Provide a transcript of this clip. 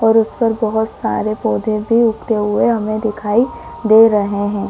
और उस पर बहोत सारे पौधे भी उगते हुए हमें दिखाई दे रहे हैं।